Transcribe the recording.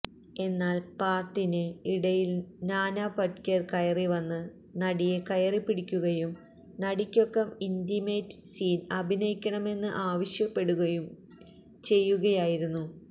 എന്നാല് പാട്ടിന് ഇടയില് നാന പടേക്കര് കയറി വന്ന് നടിയെ കയറിപ്പിടിക്കുകയും നടിയ്ക്കൊപ്പം ഇന്റിമേറ്റ് സീന് അഭിനയിക്കണമെന്ന് ആവശ്യപ്പെടുകയും ചെയ്യുകയായിരുന്നു